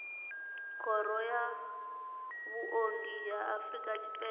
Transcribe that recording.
khoro ya vhuongi ya afrika tshipembe